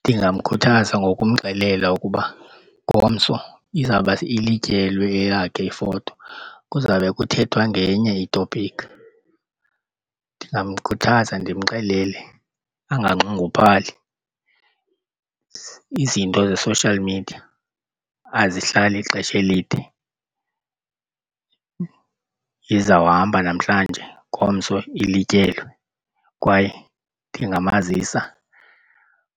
Ndingamkhuthaza ngokumxelela ukuba ngomso izawuba ilityelwe eyakhe ifoto kuzawube kuthethwa ngenye i-topiki. Ndingamkhuthaza ndimxelele anganxunguphali izinto ze-social media azihlali ixesha elide. Izawuhamba namhlanje ngomso ilityelwe kwaye ndingamazisa